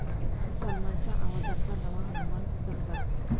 सलमानच्या आवाजातला नवा हनुमान 'दमदार'